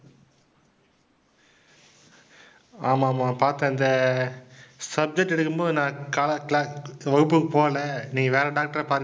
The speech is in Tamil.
ஆமா ஆமாம் பார்த்தேன் இந்த subject எடுக்கும் போது நான் கா~ cla~ வகுப்புக்கு போகலை நீங்க வேற doctor ஐ பாருங்க